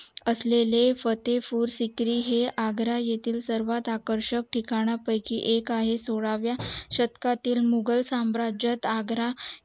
असलेले फते पूर सिक्रि हे आग्रा येतील सर्वात आकर्षक ठिकाण पयकी एक आहे सोळाव्या शतकातील मुघल साम्राज्यात आग्रा